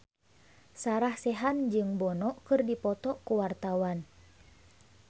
Sarah Sechan jeung Bono keur dipoto ku wartawan